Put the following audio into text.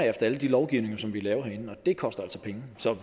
efter alle de lovgivninger som vi laver herinde og det koster altså penge så